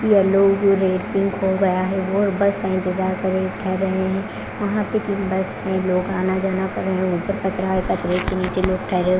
yellow जो red pink हो गया है और बस का इंतजार कर रहे ठहरे हुए हैं वहां पे एक बस से लोग आना जाना कर रहे हैं ऊपर है के नीचे लोग ठहरे--